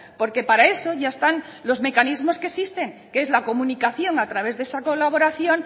porque para eso ya están los mecanismos que existen que es la comunicación a través de esa colaboración